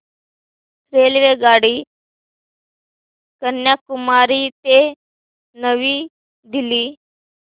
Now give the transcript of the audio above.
रेल्वेगाडी कन्याकुमारी ते नवी दिल्ली